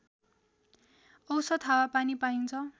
औसत हावापानी पाइन्छ